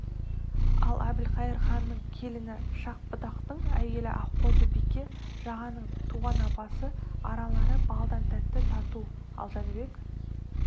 ал әбілқайыр ханның келіні шах-будақтың әйелі аққозы-бике жағанның туған апасы аралары балдан тәтті тату ал жәнібек